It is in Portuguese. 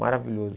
Maravilhoso.